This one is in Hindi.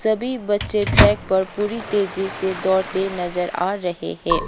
सभी बच्चे ट्रैक पर पूरी तेजी से दौड़ते नजर आ रहे है।